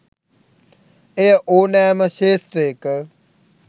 එය ඕනෑම ක්ෂේත්‍රයක